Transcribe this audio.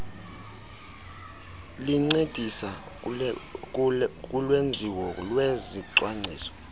lincedisa kulwenziwo lwezicwangciso